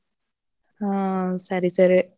ಹ್ಮ್ ಸರಿ ಸರಿ.